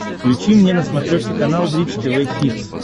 включи мне на смотрешке канал бридж тв хитс